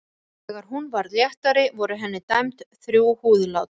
Þegar hún varð léttari voru henni dæmd þrjú húðlát.